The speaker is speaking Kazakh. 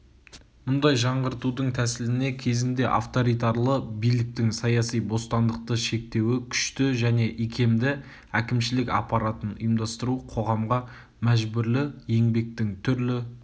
мұндай жаңғыртудың тәсіліне кезінде авторитарлы биліктің саяси бостандықты шектеуі күшті және икемді әкімшілік аппаратын ұйымдастыру қоғамға мәжбүрлі еңбектің түрлі